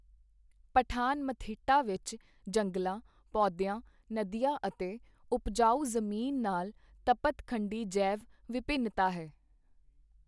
ਪਠਾਨ-ਮਥਿੱਟਾ ਵਿੱਚ ਜੰਗਲਾਂ, ਪੌਦੀਆਂ, ਨਦੀਆਂ ਅਤੇ ਉਪਜਾਊ ਜ਼ਮੀਨ ਨਾਲ ਤਪਤ ਖੰਡੀ ਜੈਵ ਵਿਭਿੰਨਤਾ ਹੈ।